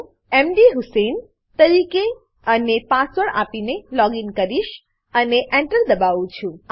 હું મધુસેઇન તરીકે અને પાસવર્ડ આપીને લોગીન કરીશ અને Enter દબાવું છું